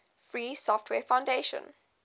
free software foundation